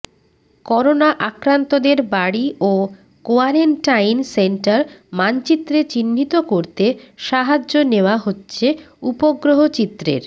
corona আক্রান্তদের বাড়ি ও কোয়ারেন্টাইন সেন্টার মানচিত্রে চিহ্নিত করতে সাহায্য নেওয়া হচ্ছে উপগ্রহ চিত্রের